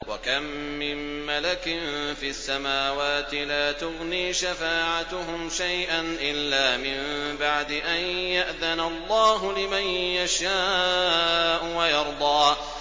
۞ وَكَم مِّن مَّلَكٍ فِي السَّمَاوَاتِ لَا تُغْنِي شَفَاعَتُهُمْ شَيْئًا إِلَّا مِن بَعْدِ أَن يَأْذَنَ اللَّهُ لِمَن يَشَاءُ وَيَرْضَىٰ